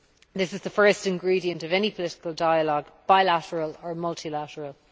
This is the first ingredient of any political dialogue, bilateral or multilateral.